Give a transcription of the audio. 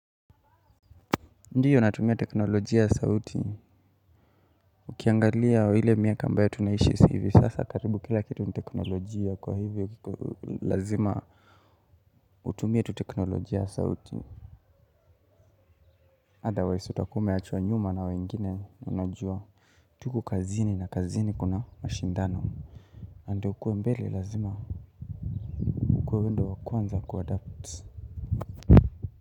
Ndiyo natumia teknolojia ya sauti, ukiangalia wa ile miaka ambayo tunaishi hivi, si sasa karibu kila kitu ni teknolojia kwa hivyo lazima utumia tu teknolojia ya sauti otherwise utakuwa umeachwa nyuma na wengine wanajua Tuku kazini na kazini kuna mashindano, ande ukue mbele lazima, ukue wewe ndo wakuanza kuadapt.